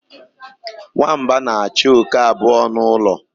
Nwamba na-achụ oke abụọ n'ụlọ.